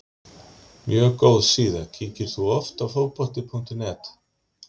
mjög góð síða Kíkir þú oft á Fótbolti.net?